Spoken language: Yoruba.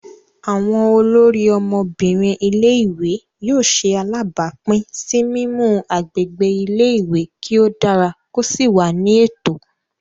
Awọn olórí Ọmọbinrin ilé-ìwé yóò ṣe alabapin si mimu agbègbè ilé-ìwé kí o dára ko sí wà ní ètò.